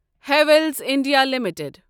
Havells India limited